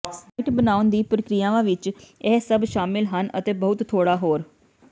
site ਬਣਾਉਣ ਦੀਆਂ ਪ੍ਰਕਿਰਿਆਵਾਂ ਵਿੱਚ ਇਹ ਸਭ ਸ਼ਾਮਿਲ ਹਨ ਅਤੇ ਬਹੁਤ ਥੋੜ੍ਹਾ ਹੋਰ